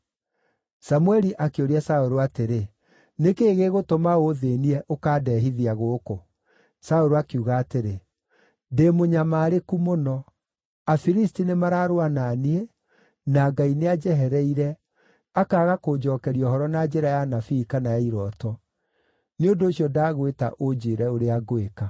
Samũeli akĩũria Saũlũ atĩrĩ, “Nĩ kĩĩ gĩgũtũma ũũthĩĩnie, ũkandehithia gũkũ?” Saũlũ akiuga atĩrĩ, “Ndĩ mũnyamarĩku mũno. Afilisti nĩmararũa na niĩ, na Ngai nĩanjehereire, akaaga kũnjookeria ũhoro na njĩra ya anabii, kana ya irooto. Nĩ ũndũ ũcio ndagwĩta ũnjĩĩre ũrĩa ngwĩka.”